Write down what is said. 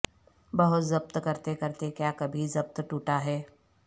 بہت ضبط کرتے کرتے کیا کبھی ضبط ٹوٹا ہے